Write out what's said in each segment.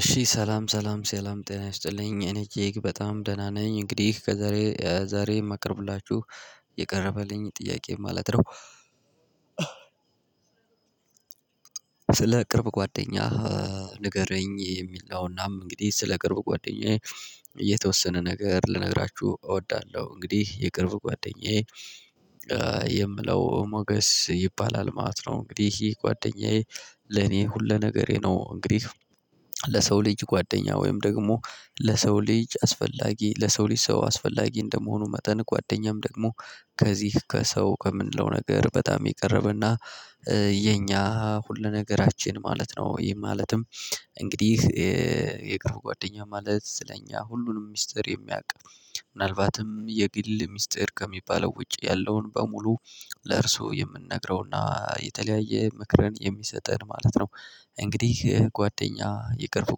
እሺ ሰላም ሰላም ሰላም ጤና ይስጥልኝ እኔ እጅግ በጣም ደህና ነኝ እንግዲህ ከዛሬ ዛሬ ማቀርብላቹህ የቀረበልኝ ጥያቄ ማለት ነው። ስለ ቅርብ ጓደኛህ ንገረኝ? የሚል ነውናም እንግዲህ ስለ ቅርብ ጓደኛዬ የተወሰነ ነገር ልነግራችሁ እወዳለሁ። እንግዲህ የቅርብ ጓደኛዬ የምለው ሞገስ ይባላል ማለት ነው። እንግዲህ ይሄ ጓደኛዬ ለኔ ሁሉ ነገሬ ነው። እንግዲህ ለሰው ልጅ ጓደኛ ወይም ደግሞ ለሰው ልጅ አስፈላጊ ለሰው ልጅ ሰው አስፈላጊ እንደመሆኑ መጠን ጓደኛም ደግሞ ከዚህ ከሰው ከምንለው ነገር በጣም የቀረበና የኛ ሁሉ ነገራችን ማለት ነው። ይሄ ማለትም እንግዲህ የቅርብ ጓደኛ ማለት ስለኛ ሁሉንም ሚስጥር የሚያውቅ ምናልባትም የግል ሚስጥር ከሚባለው ውጪ ያለውን በሙሉ ለእርሱ የምንነግረውና የተለያየ ምክርን የሚሰጠን ማለት ነው። እንግዲህ ጓደኛ የቅርብ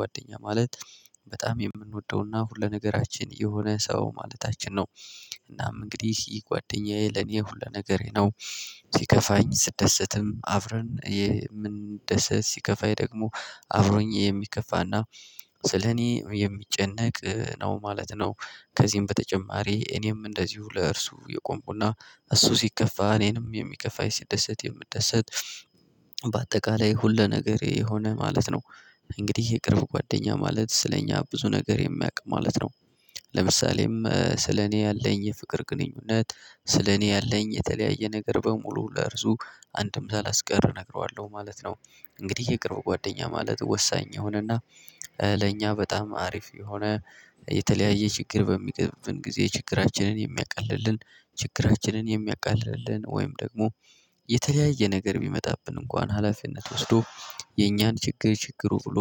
ጓደኛ ማለት በጣም የምንወደውና ሁለነገራችን የሆነ ሰው ማለታችን ነው። እንግዲህ ይህ ጓደኛዬ ለኔ ሁሉ ነገሬ ነው። ሲከፋኝ ስደሰትም አብረን የምንደሰት ሲከፋኝ ደግሞ አብሮኝ የሚከፋና ስለኔ የሚጨነቅ ነው ማለት ነው። ከዚህም በተጨማሪ እኔም እንደዚሁ ለእርሱ የቆምኩና እሱ ሲከፋ እኔንም የሚከፋኝ ሲደሰት የምደሰት በአጠቃላይ ሁሉ ነገር የሆነ ማለት ነው። እንግዲህ የቅርብ ጓደኛ ማለት ስለኛ ብዙ ነገር የሚያውቅ ማለት ነው። ለምሳሌም ስለኔ ያለኝ የፍቅር ግንኙነት ስለኔ ያለኝ የተለያየ ነገር በሙሉ ለእርሱ አንድም ሳላስቀር እነግረዋለሁ ማለት ነው። እንግዲህ የቅርብ ጓደኛ ማለት ወሳኝ የሆነና ለእኛ በጣም አሪፍ የሆነ የተለያየ ችግር በሚቀጥመን ጊዜ ችግራችንን የሚያቀልልን ችግራችንን የሚያቀልልን ወይም ደግሞ የተለያየ ነገር የሚመጣብን እንኳን ሀላፊነት ወስዶ የኛን ችግር ችግሩ ብሎ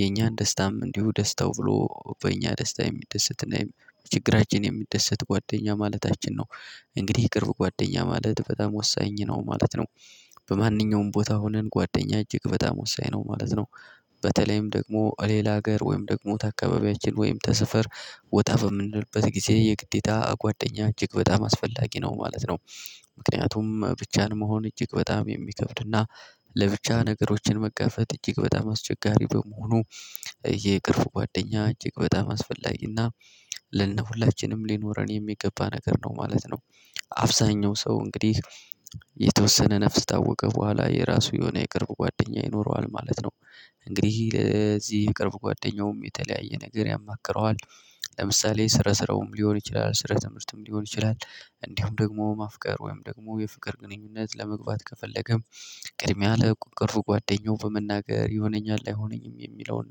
የኛን ደስታም እንዲሁ ደስታው ብሎ በእኛ ደስታ የሚደሰትና ችግራችን የሚደሰት ጓደኛ ማለታችን ነው። እንግዲህ የቅርብ ጓደኛ ማለት በጣም ወሳኝ ነው ማለት ነው። በማንኛውም ቦታ ሆነን ጓደኛ እጅግ በጣም ወሳኝ ነው ማለት ነው። በተለይም ደግሞ ሌላ ሀገር ወይም ደግሞ አካባቢያችን ወይም ተሰፈር ወጣ በምንድነው ጊዜ የግዴታ ጓደኛ እጅግ በጣም አስፈላጊ ነው ማለት ነው። ምክንያቱም ብቻን መሆን እጅግ በጣም የሚከብድና ለብቻ ነገሮችን መጋፈጥ እጅግ በጣም አስቸጋሪ በመሆኑ የቅርብ ጓደኛ እጅግ በጣም አስፈላጊና ለ ሆላችንም ሊኖረን የሚገባ ነገር ነው ማለት ነው። አብዛኛው ሰው እንግዲህ የተወሰነ ነፍስ ታወቀ በኋላ የራሱ የሆነ የቅርብ ጓደኛ ይኖረዋል ማለት ነው። እንግዲህ ለዚህ የቅርብ ጓደኛውም የተለያየ ነገር ያማክረዋል። ለምሳሌ ስራ ስራውም ሊሆን ይችላል ስረ ትምህርትም ሊሆን ይችላል። እንዲሁ ደግሞ ማፍቀር ወይም ደግሞ የፍቅር ግንኙነት ለመግባት ከፈለገም ቅድሚያ ለቁንቁን ጓደኛው በመናገር ይሆነኛል አይሆነኝም የሚለውን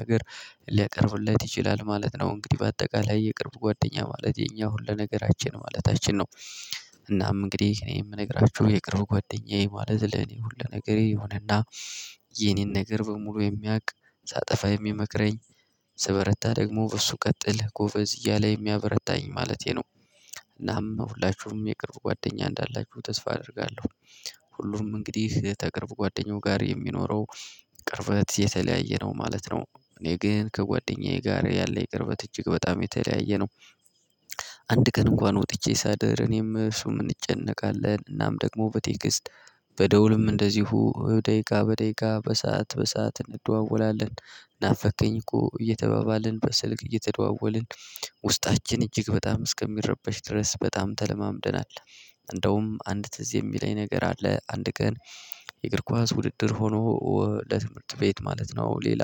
ነገር ሊያቀርብለት ይችላል ማለት ነው። እንግዲህ በአጠቃላይ የቅርብ ጓደኛ ማለት የኛ ሁሉ ነገራችን ማለታችን ነው። እናም እንግዲህ እኔ የምነግራችሁ የቅርብ ጓደኛዬ ማለት ለኔ ሁሉ ነገር የሆነና የኔን ነገር በሙሉ የሚያውቅ ሳጠፋ የሚመክረኝ ስበረታ ደግሞ በሱ ቀጥል ጎበዝ እያለ የሚያበረታኝ ማለቴ ነው። እናም ሁላችሁም የቅርብ ጓደኛ እንዳላችሁ ተስፋ አደርጋለሁ። ሁሉም እንግዲህ ተቅርብ ጓደኛው ጋር የሚኖረው ቅርበት የተለያየ ነው ማለት ነው። እኔ ግን ከጓደኛዬ ጋር ያለኝ የቅርበት እጅግ በጣም የተለያየ ነው። አንድ ቀን እንኳን ወጥቼ ሳደር እኔም እሱን እንጨነቃለን እናም ደግሞ በቴክስት በደውልም እንደዚሁ ደቂቃ በደቂቃ በሰአት በሰአት እንደዋወላለን። ናፈቅከኝ እኮ እየተባባልን በስልክ እየተደዋወልን ውስጣችን እጅግ በጣም እስከሚረበሽ ድረስ በጣም ተለማምደናል። እንደውም አንድ ትዝ የሚለኝ ነገር አለ። አንድ ቀን የእግር ኳስ ውድድር ሆኖ ለትምህርት ቤት ማለት ነው ሌላ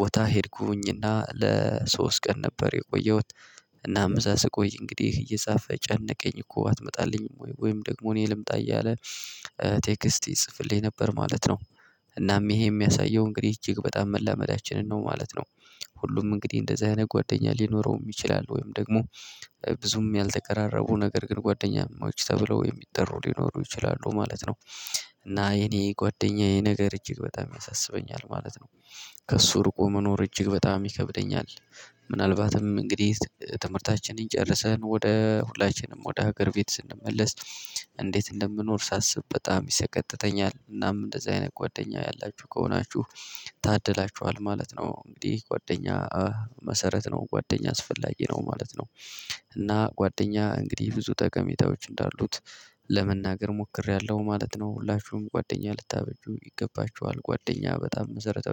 ቦታ ሄድኩኝና ለሶስት ቀን ነበር የቆየሁት። እናም እዛ ስቆይ እንግዲህ እየጻፈ ጨነቀኝ እኮ አትመጣልኝም ወይ ወይም ደግሞ እኔ ልምጣ እያለ ቴክስት ይጽፍልኝ ነበር ማለት ነው። እናም ይሄ የሚያሳየው እንግዲህ እጅግ በጣም መላመዳችንን ነው ማለት ነው። ሁሉም እንግዲህ እንደዚህ አይነት ጓደኛ ሊኖረው ይችላል ወይም ደግሞ ብዙም ያልተቀራረቡ ነገር ግን ጓደኛማዎች ተብለው የሚጠሩ ሊኖሩ ይችላሉ ማለት ነው። እና የኔ ጓደኛዬ ነገር እጅግ በጣም ያሳስበኛል ማለት ነው። ከእሱ ርቁ መኖር እጅግ በጣም ይከብደኛል። ምናልባትም እንግዲህ ትምህርታችንን ጨርሰን ወደ ሁላችንም ወደ ሀገር ቤት ስንመለስ እንዴት እንደምኖር ሳስብ በጣም ይሰቀጥጠኛል። እናም እንደዚህ አይነት ጓደኛ ያላችሁ ከሆናችሁ ታድላችኋል ማለት ነው። እንግዲህ ጓደኛ መሰረት ነው ጓደኛ አስፈላጊ ነው ማለት ነው። እና ጓደኛ እንግዲህ ብዙ ጠቀሜታዎች እንዳሉት ለመናገር ሞክሬያለሁ ማለት ነው። ሁላችሁም ጓደኛ ልታበጁ ይገባችኋል ጓደኛ በጣም መሰረታዊ